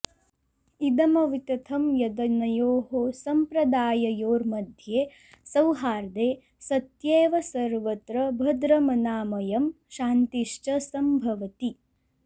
इदमवितथं यदनयोः सम्प्रदाययोर्मध्ये सौहार्दे सत्येव सर्वत्र भद्रमनामयं शान्तिश्च सम्भवति